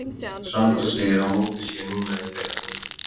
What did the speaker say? Sandra segir að mótið sé núna í þeirra höndum.